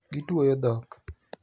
Gituoyo dhok.